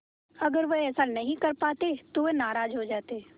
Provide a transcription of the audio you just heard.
अगर वह ऐसा नहीं कर पाते तो वह नाराज़ हो जाते